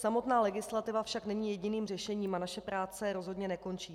Samotná legislativa však není jediným řešením a naše práce rozhodně nekončí.